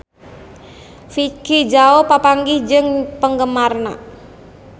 Vicki Zao papanggih jeung penggemarna